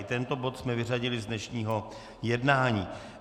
I tento bod jsme vyřadili z dnešního jednání.